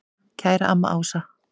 Kæra amma Ása.